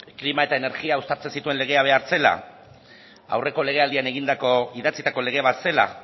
klima eta energia uztartzen zituen legea behar zela aurreko legealdian egindako idatzitako lege bat zela